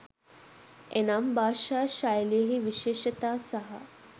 එනම්, භාෂා ශෛලියෙහි විශේෂතා සහ